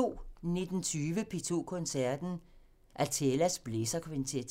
19:20: P2 Koncerten – Athelas blæserkvintet